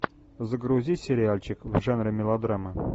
загрузи сериальчик в жанре мелодрама